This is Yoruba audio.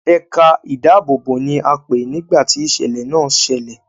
Ẹ̀ka ìdáàbòbò ni a pé nìgbá ti ìṣẹ̀lẹ̀ náà ṣẹlẹ̀.